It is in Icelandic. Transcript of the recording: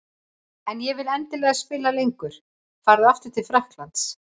En ég vil endilega spila lengur. Fara aftur til Frakklands?